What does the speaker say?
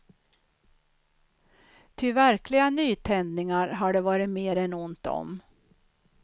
Ty verkliga nytändningar har det varit mer än ont om.